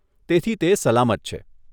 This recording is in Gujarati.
તેથી તે સલામત છે.